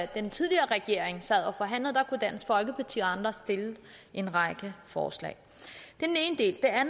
den tidligere regering sad og forhandlede kunne dansk folkeparti og andre stille en række forslag det er